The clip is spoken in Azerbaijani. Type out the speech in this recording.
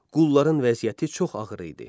Qulların vəziyyəti çox ağır idi.